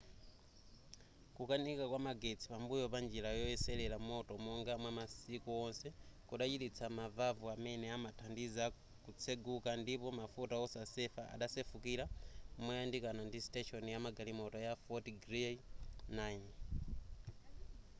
kukanika kwa magetsi pambuyo pa njira yoyeserera moto monga mwamasiku wonse kudachititsa mavavu amene amathandiza kutseguka ndipo mafuta osasefa adasefukira moyandikana ndi station yamagalimoto ya fort greely 9